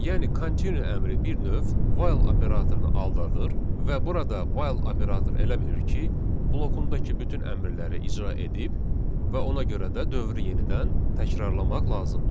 Yəni continue əmri bir növ while operatorunu aldadır və burada while operatoru elə bilir ki, blokundakı bütün əmrləri icra edib və ona görə də dövrü yenidən təkrarlamaq lazımdır.